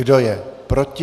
Kdo je proti?